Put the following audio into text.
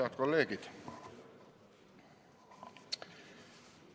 Head kolleegid!